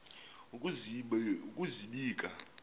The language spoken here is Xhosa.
ukuzibika